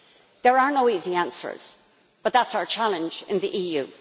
There are no easy answers, but that is our challenge in the EU.